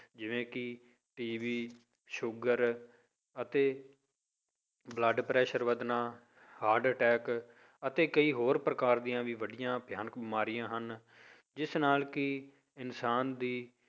ਜਿਵੇਂ ਕਿ TB sugar ਅਤੇ blood pressure ਵੱਧਣਾ heart attack ਅਤੇ ਕਈ ਹੋਰ ਪ੍ਰਕਾਰ ਦੀਆਂ ਵੀ ਵੱਡੀਆਂ ਭਿਆਨਕ ਬਿਮਾਰੀਆਂ ਹਨ ਜਿਸ ਨਾਲ ਕਿ ਇਨਸਾਨ ਦੀ